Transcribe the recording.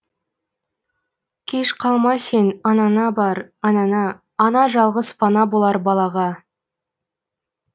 кеш қалма сен анаңа бар анаңа ана жалғыз пана болар балаға